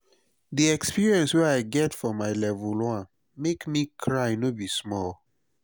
di experience way i get for my level 1 make me cry no be small